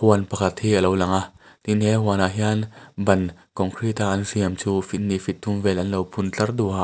huan pakhat hi a lo langa tin he huan ah hian ban concrete a an siam chu feet hnih feet thum vel an lo phun tlar--